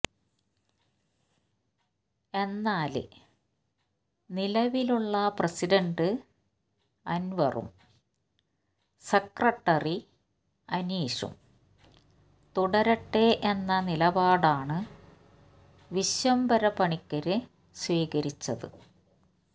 എന്നാല് നിലവിലുള്ള പ്രസിഡന്റ് അന്വറും സെക്രട്ടറി അനീഷും തുടരട്ടെ എന്ന നിലപാടാണ് വിശ്വംഭരപണിക്കര് സ്വീകരിച്ചത്